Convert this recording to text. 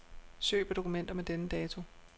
Søg på dokumenter med denne dato.